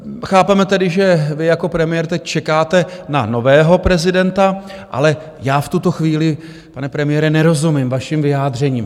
Chápeme tedy, že vy jako premiér teď čekáte na nového prezidenta, ale já v tuto chvíli, pane premiére, nerozumím vašim vyjádřením.